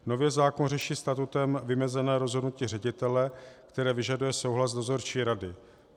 Nově zákon řeší statutem vymezené rozhodnutí ředitele, které vyžaduje souhlas dozorčí rady.